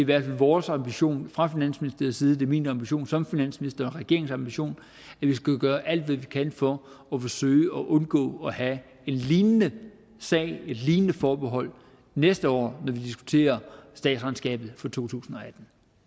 hvert fald vores ambition fra finansministeriets side det er min ambition som finansminister og regeringens ambition at vi skal gøre alt hvad vi kan for at forsøge at undgå at have en lignende sag med et lignende forbehold næste år når vi diskuterer statsregnskabet for totusinde